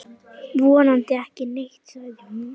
Vonandi ekki neitt, sagði hún.